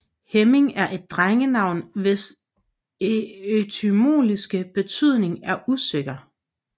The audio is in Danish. Hemming er et drengenavn hvis etymologiske betydning er usikker